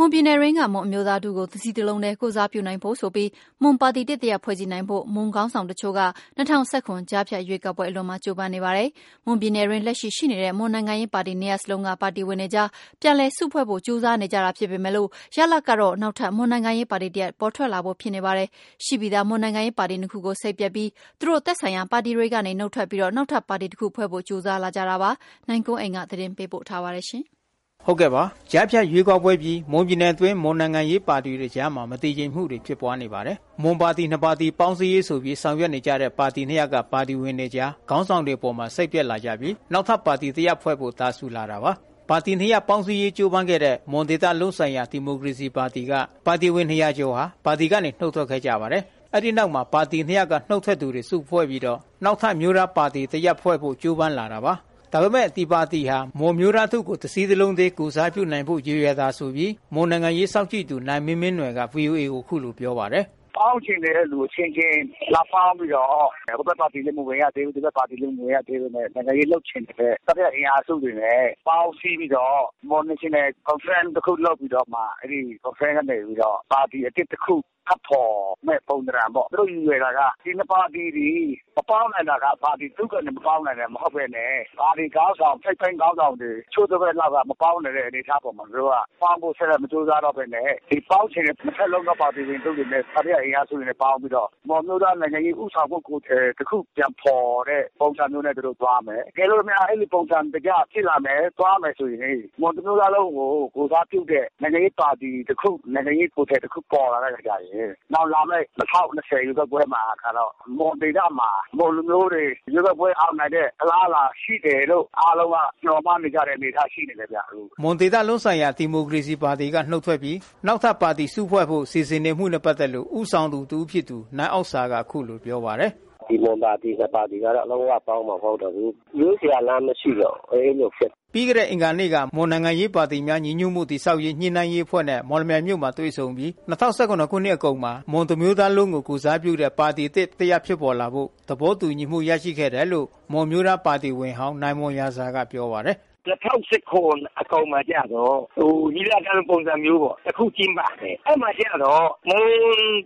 မွန်ပြည်နယ်အတွင်း မွန်အမျိုးသားထုကို တစည်းတလုံးတည်း ကိုယ်စားပြုနိုင်ဖို့ဆိုပြီး မွန်ခေါင်းဆောင်အချို့က ၂၀၁၇ ကြားဖြတ်ရွေးကောက်ပွဲအလွန်မှာ ကြိုးပမ်းနေကြပါတယ်။ မွန်ပြည်နယ်အတွင်း လက်ရှိရှိနေတဲ့ မွန်နိုင်ငံရေးပါတီ နှစ်ရပ်စလုံးက ပါတီဝင်တွေကြား ပြန်လည်စုဖွဲ့ဖို့ ကြိုးစားနေတာဖြစ်ပေမယ့်၊ ရလဒ်ကတော့ နောက်ထပ် မွန်နိုင်ငံရေးပါတီတရပ် ပေါ်ထွက်လာဖို့ဖြစ်နေပါတယ်။ ရှိပြီးသား မွန်နိုင်ငံရေးပါတီနှစ်ခုကို စိတ်ပျက်ပြီး သူတို့သက်ဆိုင်ရာပါတီတွေကနေ နုတ်ထွက်ပြီး နောက်ထပ်ပါတီတခု စုဖွဲ့ဖို့ ကြိုးစားလာကြတာပါ။ အခြေအနေအသေးစိတ်ကိုတော့ ဗွီအိုအေသတင်းထောက် နိုင်ကွမ်းအိမ် သတင်းပေးပို့ထားပါတယ်။ ကြားဖြတ်ရွေးကောက်ပွဲအပြီး မွန်ပြည်နယ်အတွင်း မွန်နိုင်ငံရေးပါတီတွေ အကြားမတည်ငြိမ်မှုတွေဖြစ်ပွါးနေပါတယ်။ မွန်ပါတီနှစ်ပါတီ ပေါင်းစည်းရေးဆိုပြီး ဆောင်ရွက်ကြတဲ့ ပါတီနှစ်ရပ်က ပါတီဝင်တွေအကြား ခေါင်းဆောင်တွေအပေါ် စိတ်ပျက်လာပြီး နောက်ထပ်ပါတီတရပ်ဖွဲ့ဖို့ တာစူလာတာပါ။ ပါတီနှစ်ရပ်ပေါင်းစည်းရေးကြိုးပမ်းခဲ့တဲ့ မွန်ဒေသလုံးဆိုင်ရာ ဒီမိုကရေစီပါတီက ပါတီဝင်နှစ်ရာကျော် ပါတီကနေ နုတ်ထွက်ခဲ့ကြပါတယ်။ အဲဒီနောက် ပါတီနှစ်ရပ်က နုတ်ထွက်လာသူတွေ စုဖွဲ့ပြီး နောက်ထပ် မွန်အမျိုးသားပါတီ တရပ်ဖွဲ့ဖို့ ကြိုးပမ်းလာတာပါ။ ဒါပေမယ့် ဒီပါတီဟာ မွန်အမျိုးသားထုကို တစည်းတလုံးတည်း ကိုယ်စားပြုနိုင်ဖို့ရည်ရွယ်တာဆိုပြီး မွန်နိုင်ငံရေး စောင့်ကြည့်သူ နိုင်မင်းမင်းနွယ်က ဗွီအိုအေကို အခုလို ပြောပါတယ်။ “ပေါင်းချင်တဲ့လူအချင်းချင်း လာပေါင်းပြီးတော့ ဟိုဘက်ပါတီလည်း မဝင်ရသေးဘူး၊ ဒီဘက်ပါတီလည်း မဝင်ရသေးဘူး နိုင်ငံရေးလုပ်ချင်တဲ့ တတိယ အင်အားစုတွေအနေနဲ့ ပေါင်းစီးပြီးတော့ Mon National Conference လုပ်ပြီးတော့ အဲဒီကနေပြီးတော့ ပါတီအသစ်တခု ထပ် ပေါ်မယ့် ပုံသဏ္လာန်ပေါ့ ။ သူတို့ ရည်ရွယ်တာက ဒီ ၂ ပါတီသည် မပေါင်းနိုင်တာက ပါတီဝင်တချို့မဟုတ်ပဲနဲ့ ပါတီ ထိပ်ပိုင်းခေါင်းဆောင်တွေ တချို့တဝက်လောက်က မပေါင်းနိုင်တဲ့အနေအထား ပေါ်မှာ သူတို့က ပေါင်းဖို့ ဆက်ပြီးမကြိုးစားတော့ပဲနဲ့ ဒီပေါင်းချင်တဲ့ ၂ ဖက်ပါတီဝင်တွေအနေနဲ့ တတိယအင်အားစုတွေအနေနဲ့ပေါင်းပြီးတော့ မွန်အမျိုးသားနိုင်ငံရေး ဦးဆောင်တဲ့ ကိုယ်ထည်တခု ပြန်ဖော်တဲ့ ပုံစံမျိုးနဲ့ သွားမယ်။ တကယ်လို့ အဲလိုပုံစံမျိုးဖြစ်လာမယ်ဆိုရင် မွန်တမျိုးသားလုံးကို ကိုယ်စားပြုတဲ့ နိုင်ငံရေးပါတီတခု၊ နိုင်ငံရေးကိုယ်ထည်တခု ပေါ်လာပြီးတော့ နောင်လာမယ့် ၂၀၂၀ ရွေးကောက်ပွဲမှာ မွန်ဒေသမှာ မွန်လူမျိုးတွေ ရွေးကောက်ပွဲအောင်နိုင်တဲ့ အလားအလာရှိတယ်လို့ အားလုံးက မျှော်မှန်းနေကြတဲ့ အနေအထားရှိနေပါတယ်။” မွန်ဒေသလုံးဆိုင်ရာဒီမိုကရေစီပါတီက နုတ်ထွက်ကြပြီး နောက်ထပ်ပါတီစုဖွဲ့ဖို့ စီစဉ်နေမှုနဲ့ပတ်သက်လို့ ဦးဆောင်သူ တဦး ဖြစ်တဲ့ နိုင်အောက်ဆာက အခုလို ပြောပါတယ်။ “ဒီ ၂ ပါတီကတော့ လုံးဝပေါင်းမှာ မဟုတ်တော့ဘူး။ ရွေးစရာလမ်းမရှိတော့ဘူး အဲဒီလိုဖြစ်နေတယ်။” ပြီးခဲ့တဲ့အင်္ဂါနေ့ကတော့ မွန်နိုင်ငံရေးပါတီများညီညွတ်မှုတည်ဆောက်ရေးညှိနှိုင်းရေးအဖွဲ့နဲ့ မော်လမြိုင်မြိုှု့မှာတွေ့ဆုံပြီး ၂၀၁၇နှစ် အကုန်မှာ မွန်တမျိုးသားလုံးကိုကိုယ်စားပြုတဲ့ပါတီအသစ် တရပ်ဖြစ်လာဖို့ သဘောတူ ညီမှုရရှိခဲ့တယ်လို့ မွန်အမျိုးသားပါတီဝင်ဟောင်း နိုင်မွန်ရာဇာက ပြောပါတယ်။ “၂၀၁၇နှစ်အကုန်မှာကျတော့ ညီလာခံလိုမျိုးတခု ကျင်းပမယ်။ အဲဒီမှာကျတော့ မွန်